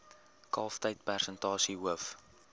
kalftyd persentasie hoof